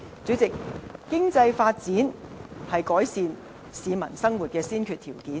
主席，經濟發展是改善市民生活的先決條件。